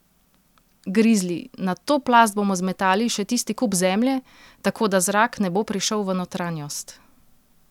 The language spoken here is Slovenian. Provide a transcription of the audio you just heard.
Grizli: "Na to plast bomo zmetali še tisti kup zemlje, tako da zrak ne bo prišel v notranjost.